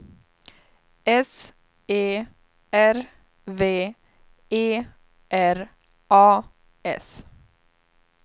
S E R V E R A S